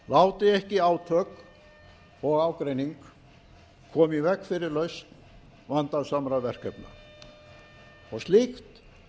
láti ekki átök og ágreining koma í veg fyrir lausn vandasamra verkefna og slíkt